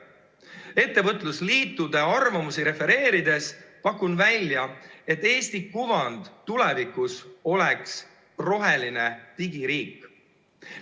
Ettevõtlusliitude arvamusi refereerides pakun välja, et Eesti kuvand tulevikus oleks roheline digiriik.